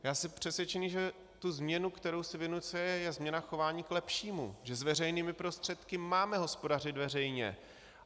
Já jsem přesvědčený, že ta změna, kterou si vynucuje, je změna chování k lepšímu, že s veřejnými prostředky máme hospodařit veřejně.